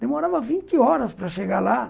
Demorava vinte horas para chegar lá,